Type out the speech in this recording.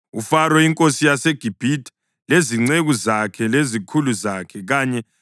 uFaro inkosi yaseGibhithe, lezinceku zakhe, lezikhulu zakhe kanye labantu bakhe bonke,